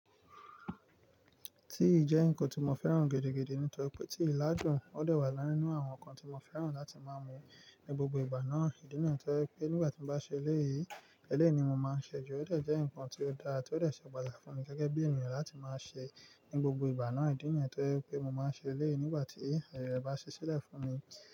Tíi jẹ nǹkan tó mo fẹ́ràn gidi-gidi, nítorí pé tíi l'adun ò de wa ninu àwọn nǹkan tí mo fẹ́ràn láti máa mu ní gbogbo ìgbà náà. Ìdí nìyẹn tó jẹ́ pé nígbà tí mo bá ṣe eléyìí, eléyìí ni mo máa ń ṣe jù. Ó de jẹ́ nǹkan tó dáa, tó dọ̀ ṣe ọ̀pọ̀lọpọ̀ àfààfù ní gẹ́gẹ́ bí ènìyàn láti máa ṣe ní gbogbo ìgbà náà. Ìdí nìyẹn tó jẹ́ pé mo máa ń ṣe eléyìí nígbà tí ẹ̀rọ bá ṣí sílẹ̀ fún mi.